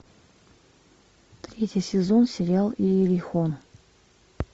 третий сезон сериал иерихон